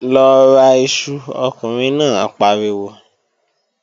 Lọ ra iṣu, ọkùnrin náà pariwo!